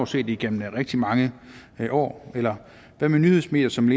set igennem rigtig mange år eller hvad med nyhedsmedier som